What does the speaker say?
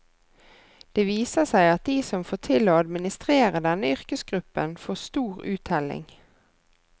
Det viser seg at de som får til å administrere denne yrkesgruppen får stor uttelling.